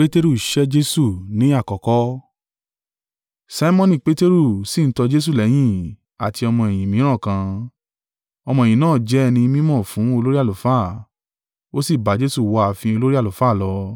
Simoni Peteru sì ń tọ Jesu lẹ́yìn, àti ọmọ-ẹ̀yìn mìíràn kan: ọmọ-ẹ̀yìn náà jẹ́ ẹni mí mọ̀ fún olórí àlùfáà, ó sì bá Jesu wọ ààfin olórí àlùfáà lọ.